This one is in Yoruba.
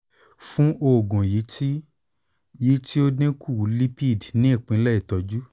fun oogun yii ti yii ti o dinku lipid ni ipilẹ itọju